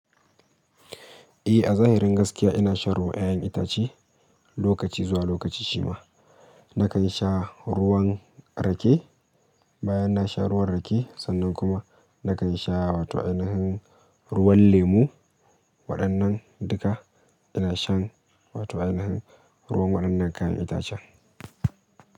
Eh, a zahirin gaskiya ina shan ruwan ƴaƴan itace, lokaci zuwa lokaci shima. Nakan sha ruwan rake, bayan na sha ruwan rake, sannan kuma nakan sha wato ainihin ruwan lemu, waɗannan duka, ina shan wato ainihin ruwan waɗannan kayan itacen.